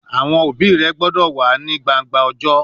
Awọn obi rẹ gbọdọ wa ni gbangba ọjọ!